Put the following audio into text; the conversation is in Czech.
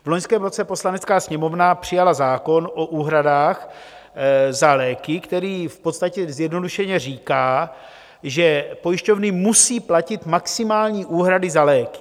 V loňském roce Poslanecká sněmovna přijala zákon o úhradách za léky, který v podstatě zjednodušeně říká, že pojišťovny musí platit maximální úhrady za léky.